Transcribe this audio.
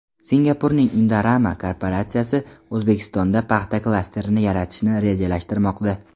Singapurning Indorama korporatsiyasi O‘zbekistonda paxta klasterini yaratishni rejalashtirmoqda.